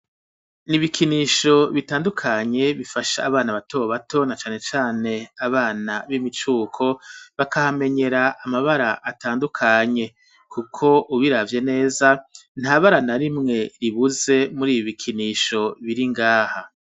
N'ibikinisho bitandukanye bifasha abana bato bato na cane cane abana b'imicuko bakahamenyera amabara atandukanye kuko ubiravye neza ntabara na rimwe ribuze muribi bikinisho biri ngaha